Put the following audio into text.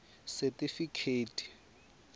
setifikheti